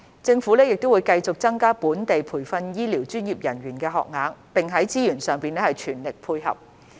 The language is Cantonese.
政府亦會繼續增加本地培訓醫療專業人員的學額，並在資源上全力配合。